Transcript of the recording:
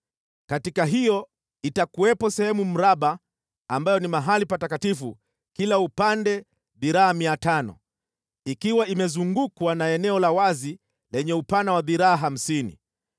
Katika hiyo, itakuwepo sehemu mraba ambayo ni mahali patakatifu kila upande dhiraa 500 ikiwa imezungukwa na eneo la wazi lenye upana wa dhiraa hamsini.